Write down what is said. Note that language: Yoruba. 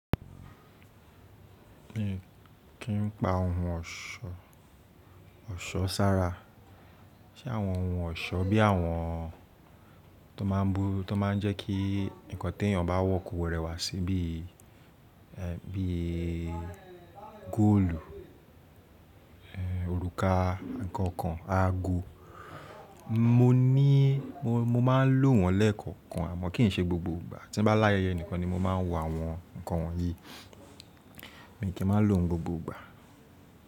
Mi kí n pa ohun ọ̀ṣọ́, ọ̀ṣọ́ sára. Ṣé àwọn ohun ọ̀ṣọ́ bí àwọn tó máa bú, tó máa ń jẹ́ kí ǹkan tó ènìyàn bá wọ̀ kò rẹwà sí bí, ẹ́, bí i góòlù, ẹ́, òrùka, ǹkan kan, aago. Mo ní, mo, mo máa lò wọ̀n lẹ́ẹ̀kọ̀kan àmọ́ kì í ṣe gbogbo ìgbà. Tí n bá láyẹyẹ nìkan ni mo máa ń wọ àwọn ǹkan wọ̀nyí. Èmi kì í máa lò n gbogbo ìgbà.